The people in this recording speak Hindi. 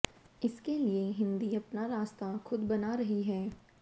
इसके लिए हिंदी अपना रास्ता खुद बना रही है